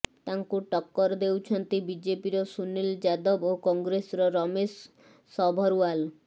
ତାଙ୍କୁ ଟକ୍କର ଦେଉଛନ୍ତି ବିଜେପିର ସୁନୀଲ ଯାଦବ ଓ କଂଗ୍ରେସର ରମେଶ ସଭରଓ୍ବାଲ